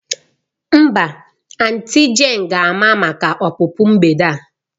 Mba, auntie jane ga-ama maka ọpụpụ mgbede a.